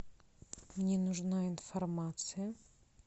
мне нужна информация